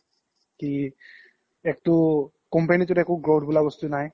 কি একতো company তোত একো growth বুলা বস্তু নাই